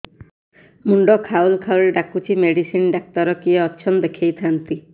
ମୁଣ୍ଡ ଖାଉଲ୍ ଖାଉଲ୍ ଡାକୁଚି ମେଡିସିନ ଡାକ୍ତର କିଏ ଅଛନ୍ ଦେଖେଇ ଥାନ୍ତି